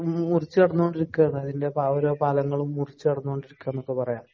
മുറിച്ച് കടന്നുകൊണ്ടിരിക്കുകയാണ് അപ്പോ ഓരോ പാലങ്ങളും കടന്നു കൊണ്ടിരിക്കുകയാണ് എന്നൊക്കെ പറയാം.